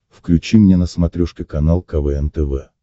включи мне на смотрешке канал квн тв